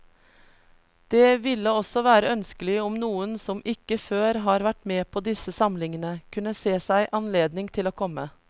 Det ville også være ønskelig om noen som ikke før har vært med på disse samlingene, kunne se seg anledning til å komme.